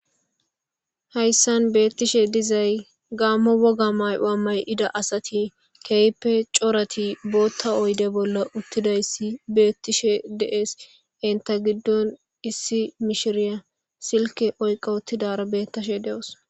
hayssan beettishe dizay gaammo woga may7oa may7ida asati keype corati bootta oyde bolla uttidayssi beettishe dees inta giddon issi mishiriya silke oyqa uttidara beettashe de7os